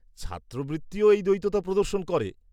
ছাত্রবৃত্তিও এই দ্বৈততা প্রদর্শন করে।